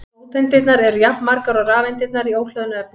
Róteindirnar eru jafnmargar og rafeindirnar í óhlöðnu efni.